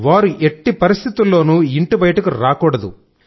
వారు ఎట్టి పరిస్థితుల్లో కూడా ఇంటి బయటకు రాకూడాదు